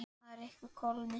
Það yrði kólnun.